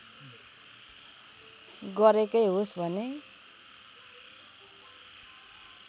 गरेकै होस् भने